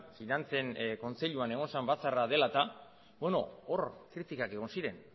finantzen kontseiluan egon zen batzarra dela eta hor kritikak egon ziren